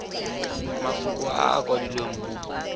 mafoko a a kwadilweng mo